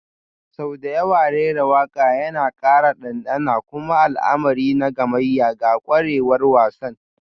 Sau da yawa rera waƙa yana ƙara ɗanɗana kuma al'amari na gamayya ga ƙwarewar wasan,